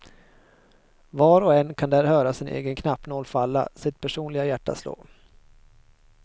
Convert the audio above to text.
Var och en kan där höra sin egen knappnål falla, sitt personliga hjärta slå.